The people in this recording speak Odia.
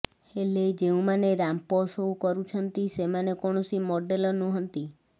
ହେଲେ ଯେଉଁମାନେ ରାମ୍ପସୋ କରୁଛନ୍ତି ସେମାନେ କୌଣସି ମଡେଲ ନୁହଁନ୍ତି